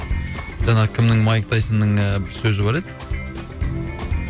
жаңағы кімнің майк тайсонның бір сөзі бар еді